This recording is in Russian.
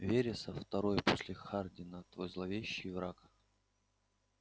вересов второй после хардина твой злейший враг